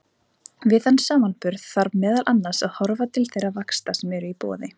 Við þann samanburð þarf meðal annars að horfa til þeirra vaxta sem eru í boði.